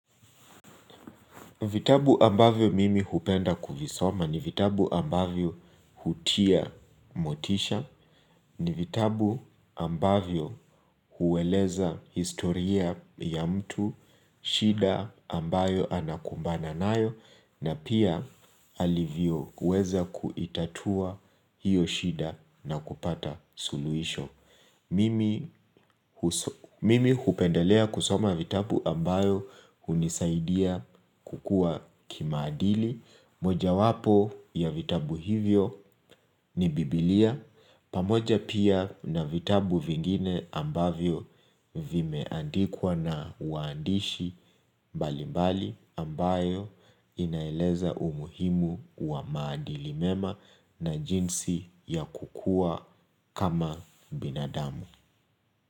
Vitabu ambavyo mimi hupenda kuvisoma ni vitabu ambavyo hutia motisha, ni vitabu ambavyo hueleza historia ya mtu, shida ambayo anakumbana nayo, na pia alivyo uweza kuitatua hiyo shida na kupata suluhisho. Mimi hupendelea kusoma vitabu ambayo hunisaidia kukuwa kimaadili. Mojawapo ya vitabu hivyo ni bibilia pamoja pia na vitabu vingine ambavyo vimeandikwa na waandishi. Mbali mbali ambayo inaeleza umuhimu wa maadili mema na jinsi ya kukuwa kama binadamu.